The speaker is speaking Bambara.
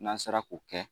N'an sera k'o kɛ